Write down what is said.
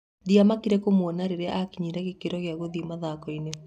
Ndĩmakĩte kũmuona rĩrĩa akinyire gĩkĩro kĩa ngũthi mathako-inĩ."